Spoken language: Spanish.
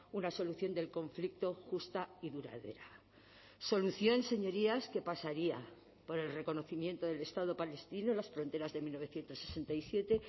una solución del conflicto justa y duradera solución señorías que pasaría por el reconocimiento del estado palestino las fronteras de mil novecientos sesenta y siete